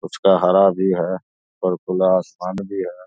कुछ का हरा भी हैं और खुला आसमान भी है।